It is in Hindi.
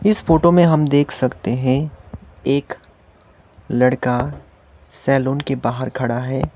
इस फोटो में हम देख सकते हैं एक लड़का सैलून के बाहर खड़ा है।